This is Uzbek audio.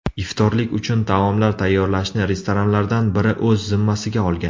Iftorlik uchun taomlar tayyorlashni restoranlardan biri o‘z zimmasiga olgan.